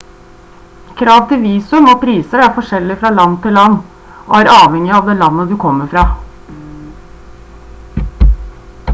krav til visum og priser er forskjellig fra land til land og er avhengig av det landet du kommer fra